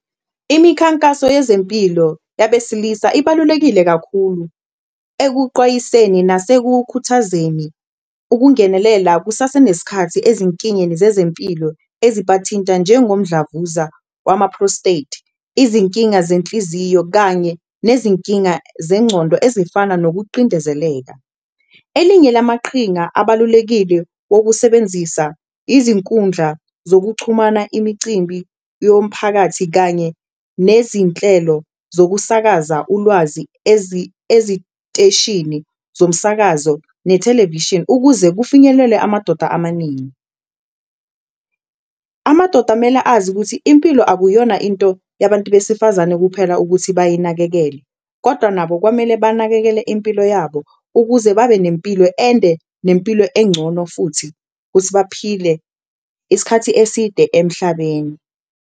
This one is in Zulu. Imikhankaso yezempilo yabesilisa ibalulekile kakhulu ekuqwayiseni nasekukhuthazeni ukungenelela kusasenesikhathi ezinkingeni zezempilo ezibathinta njengomdlavuza wama-prostate, izinkinga zenhliziyo kanye nezinkinga zencondo ezifana nokuqindezeleka. Elinye lamaqhinga abalulekile wokusebenzisa izinkundla zokuchumana, imicimbi yomphakathi kanye nezinhlelo zokusakaza ulwazi eziteshini zomsakazo nethelevishini, ukuze kufinyelelwe amadoda amaningi. Amadoda mele azi ukuthi impilo akuyona into yabantu besifazane kuphela ukuthi bayinakekele kodwa nabo kwamele banakekele impilo yabo, ukuze babe nempilo ende nempilo engcono futhi ukuthi baphile isikhathi eside emhlabeni.